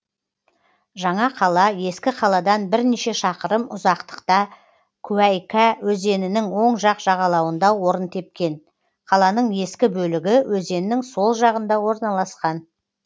жаңа қала ескі қаладан бірнеше шақырым ұзақтықта куәйкә өзенінің оң жақ жағалауында орын тепкен қаланың ескі бөлігі өзеннің сол жағында орналасқан